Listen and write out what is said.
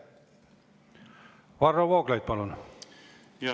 Varro Vooglaid, palun!